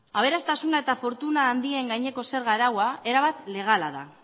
aberastasuna eta fortuna handien gaineko zerga araua erabat legala da